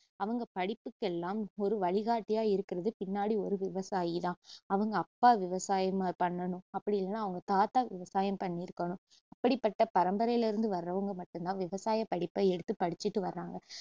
அவங்க படிப்புக்கெல்லாம் ஒரு வழிகாட்டியா இருக்குறது பின்னாடி ஒரு விவசாயிதான் அவங்க அப்பா விவசாயம் பண்ணனும் அப்படி இல்லனா அவங்க தாத்தா விவசாயம் பன்ணிருக்கணும் அப்படிப்பட்ட பரம்பரைல இருந்து வர்றவங்க மட்டும் தான் விவசாயப்படிப்ப எடுத்து படிச்சுட்டு வர்றாங்க